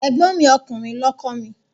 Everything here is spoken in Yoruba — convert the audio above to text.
Ẹ̀gbọ́n mi ọkùnrin lọ kọ́ mi.